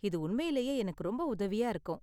இது உண்மையிலேயே எனக்கு ரொம்ப உதவியா இருக்கும்.